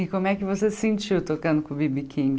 E como é que você se sentiu tocando com o Bi Bi king